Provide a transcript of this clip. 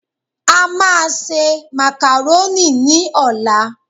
A máa se màkàrónì ní ọ̀la